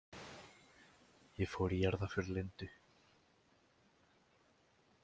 Ég fór í jarðarför Lindu.